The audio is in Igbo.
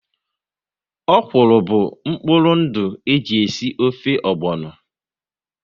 Ọ̀kwụ́rụ́ bụ mkpụrụ ndụ e ji esi ofe ogbono